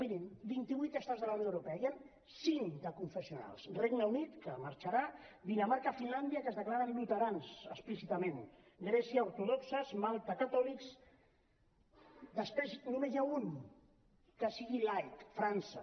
mirin vint i vuit estats de la unió europea n’hi han cinc d’aconfessionals regne unit que en marxarà dinamarca finlàndia que es declaren luterans explícitament grècia ortodoxos malta catòlics després només n’hi ha un que sigui laic frança